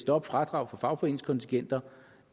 stoppe fradrag på fagforeningskontingenter